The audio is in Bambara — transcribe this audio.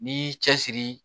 N'i y'i cɛsiri